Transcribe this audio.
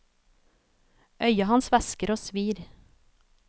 Øyet hans væsker og svir.